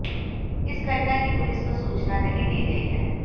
इस घटना की पुलिस को सूचना नहीं दी गई है